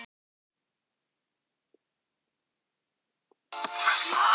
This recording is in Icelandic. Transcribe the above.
Þetta húsnæði verður bráðum of lítið fyrir okkur.